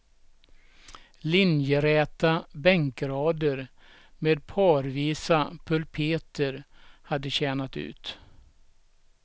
Linjeräta bänkrader med parvisa pulpeter hade tjänat ut.